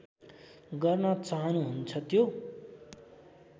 गर्न चाहनुहुन्छ त्यो